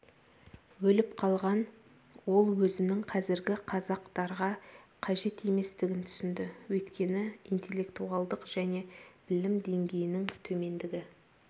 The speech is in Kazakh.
өліп қалған ол өзінің қазіргі қазақтарға қажет еместігін түсінді өйткені интеллектуалдық және білім деңгейінің төмендігі